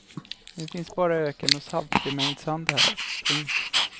Nu finns bara öken och saltbemängd sand här. punkt